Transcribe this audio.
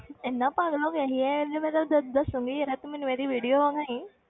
ਇੰਨਾ ਪਾਗਲ ਹੋ ਗਿਆ ਸੀ ਇਹ ਦੱ~ ਦੱਸਾਂਗੀ ਜ਼ਰਾ ਤੂੰ ਮੈਨੂੰ ਇਹਦੀ video ਵਿਖਾਈਂ,